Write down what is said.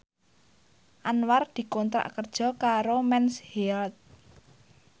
Anwar dikontrak kerja karo Mens Health